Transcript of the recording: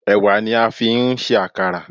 Ẹ̀wà ni a fi ń ṣe Àkàrà.